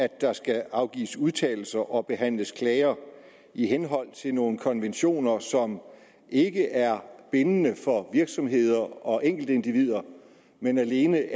at der skal afgives udtalelser og behandles klager i henhold til nogle konventioner som ikke er bindende for virksomheder og enkeltindivider men alene